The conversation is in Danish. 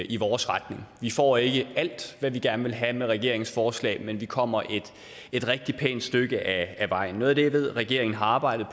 i vores retning vi får ikke alt hvad vi gerne vil have med regeringens forslag men vi kommer et rigtig pænt stykke af vejen noget af det jeg ved regeringen har arbejdet